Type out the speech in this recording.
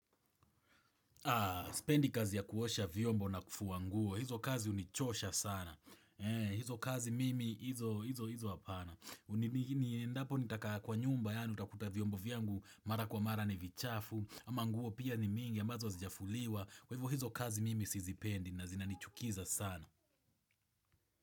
Haa, spendi kazi ya kuosha vyombo na kufua nguo. Hizo kazi hunichosha sana. Hee, hizo kazi mimi hizo, hizo, hizo hapana. Endapo nitakaa kwa nyumba yaani, utakuta vyombo vyangu mara kwa mara ni vichafu. Ama nguo pia ni mingi ya ambazo hazijafuliwa. Kwa hivo hizo kazi mimi sizipendi na zinanichukiza sana.